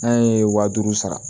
N'a ye waa duuru sara